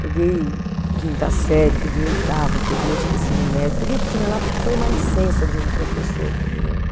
Peguei quinta série, peguei oitava, peguei, acho que ensino médio, peguei o que tinha lá porque foi uma licença de um professor, que eu me lembro.